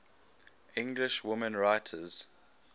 english women writers